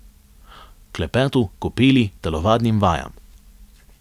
Klepetu, kopeli, telovadnim vajam.